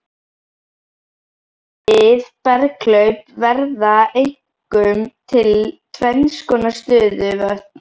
Við berghlaup verða einkum til tvennskonar stöðuvötn.